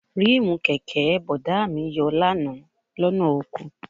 Ríìmù kẹ̀kẹ́ Bọ̀dá mi yọ lánàá lọ́nà oko